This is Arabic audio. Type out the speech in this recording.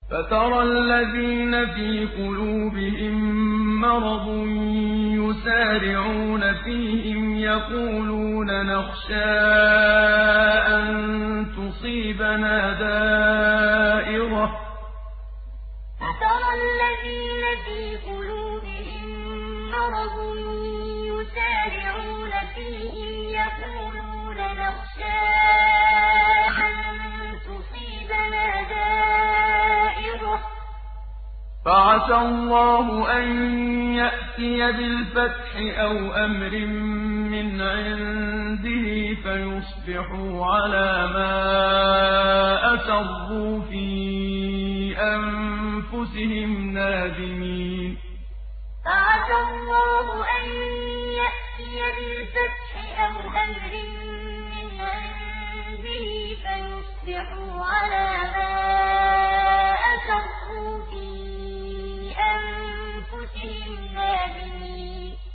فَتَرَى الَّذِينَ فِي قُلُوبِهِم مَّرَضٌ يُسَارِعُونَ فِيهِمْ يَقُولُونَ نَخْشَىٰ أَن تُصِيبَنَا دَائِرَةٌ ۚ فَعَسَى اللَّهُ أَن يَأْتِيَ بِالْفَتْحِ أَوْ أَمْرٍ مِّنْ عِندِهِ فَيُصْبِحُوا عَلَىٰ مَا أَسَرُّوا فِي أَنفُسِهِمْ نَادِمِينَ فَتَرَى الَّذِينَ فِي قُلُوبِهِم مَّرَضٌ يُسَارِعُونَ فِيهِمْ يَقُولُونَ نَخْشَىٰ أَن تُصِيبَنَا دَائِرَةٌ ۚ فَعَسَى اللَّهُ أَن يَأْتِيَ بِالْفَتْحِ أَوْ أَمْرٍ مِّنْ عِندِهِ فَيُصْبِحُوا عَلَىٰ مَا أَسَرُّوا فِي أَنفُسِهِمْ نَادِمِينَ